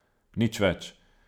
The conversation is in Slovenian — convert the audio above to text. Nič več!